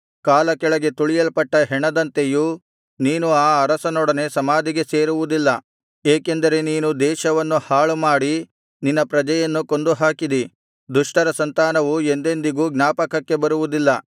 ಕಾಲ ಕೆಳಗೆ ತುಳಿಯಲ್ಪಟ್ಟ ಹೆಣದಂತೆಯೂ ನೀನು ಆ ಅರಸರೊಡನೆ ಸಮಾಧಿಗೆ ಸೇರುವುದಿಲ್ಲ ಏಕೆಂದರೆ ನೀನು ದೇಶವನ್ನು ಹಾಳುಮಾಡಿ ನಿನ್ನ ಪ್ರಜೆಯನ್ನು ಕೊಂದುಹಾಕಿದಿ ದುಷ್ಟರ ಸಂತಾನವು ಎಂದೆಂದಿಗೂ ಜ್ಞಾಪಕಕ್ಕೆ ಬರುವುದಿಲ್ಲ